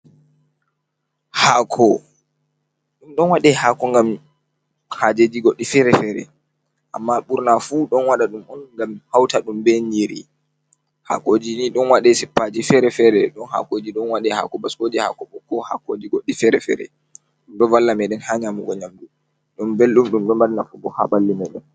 Haako ɗon waɗe haako ngam hajeji goɗɗi fere fere, amma ɓurna fu ɗon waɗa ɗum on ngam hauta ɗum ben nyiri hakoji ni ɗon waɗe sippaji fere-fere, ɗon hakoji ɗon waɗe haako baskoje, haako ɓokko, haakoji goɗɗi fere-fere ɗumdo ɗo valla meɗen ha nyamugo nyamdu, ɗum belɗum ɗumɗo mari nafu bo ha ɓalli meɗen.